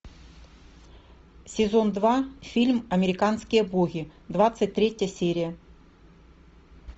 сезон два фильм американские боги двадцать третья серия